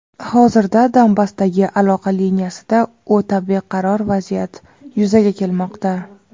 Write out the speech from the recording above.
hozirda Donbassdagi aloqa liniyasida o‘ta beqaror vaziyat yuzaga kelmoqda.